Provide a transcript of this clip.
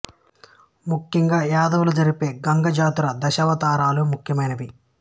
ముఖ్యంగా యాదవులు జరిపే గంగ జాతర దశావతారాలు ముఖ్య మైనవి